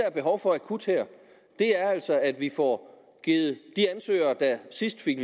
er behov for akut er altså at vi får givet de ansøgere der sidst fik